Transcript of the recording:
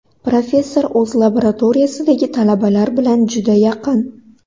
Professor o‘z laboratoriyasidagi talabalar bilan juda yaqin.